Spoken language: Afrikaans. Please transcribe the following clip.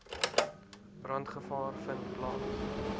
brandgevaar vind plaas